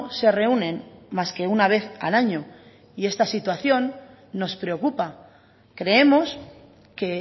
se reúnen más que una vez al año y esta situación nos preocupa creemos que